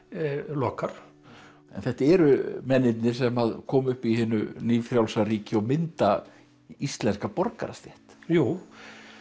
lokar þetta eru mennirnir sem komu upp í hinu nýfrjálsa ríki og mynda íslenska borgarastétt jú